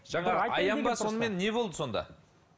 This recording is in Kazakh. сонымен не болды сонда